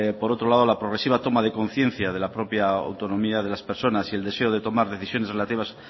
por otro lado la progresiva toma de conciencia de la propia autonomía de las personas y el deseo de tomar decisiones relativas